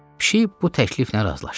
Pişik bu təkliflə razılaşdı.